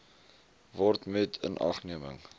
word met inagneming